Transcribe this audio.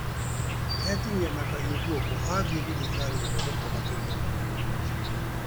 Etinia na kahiũ gũoko athiĩ thibitarĩ gũthondekwo makĩria